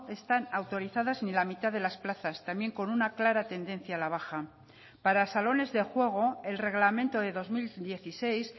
están autorizadas ni la mitad de las plazas también con una clara tendencia a la baja para salones de juego el reglamento de dos mil dieciséis